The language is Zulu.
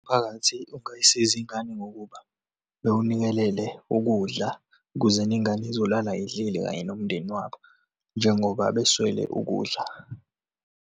Umphakathi ungayisiza iy'ngane ngokuba bewunikelele ukudla kuzeni ingane izolala indlile kanye nomndeni wabo, njengoba beswele ukudla.